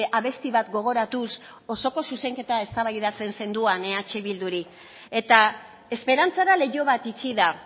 abesti bat gogoratuz osoko zuzenketa eztabaidatzen zenduan eh bilduri eta esperantzara leiho bat itxi da